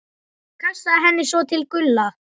Kastaði henni svo til Gulla.